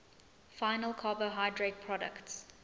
final carbohydrate products